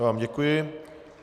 Já vám děkuji.